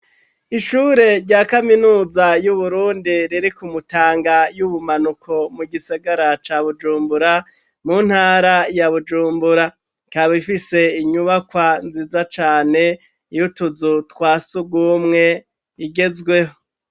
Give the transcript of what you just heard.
Ishure rya kaminuza y'Uburundi riri ku Mutanga y'ubumanuko, mu gisigara ca Bujumbura, mu ntara ya Bujumbura, ikaba ifise inyubakwa nziza cane y'utuzu twa sugumwe igezweho.